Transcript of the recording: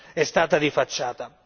è stata di facciata.